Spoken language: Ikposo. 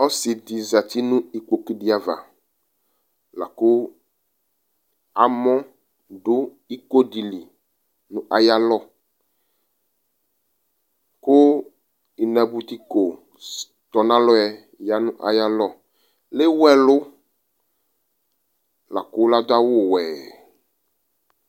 Ɔsɩ ɖɩ zati nʋ iƙpoƙu ɖɩ ava, laƙʋ amɔ ɖʋ iƙo ɖɩli nʋ aƴʋ alɔƘʋ inaboutiƙo tɔnalɔɛLewu ɛlʋ laƙʋ l'aɖʋ awʋ wɛ